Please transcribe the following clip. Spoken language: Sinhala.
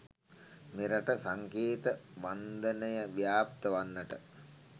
මෙරටද සංකේත වන්දනය ව්‍යාප්ත වන්නට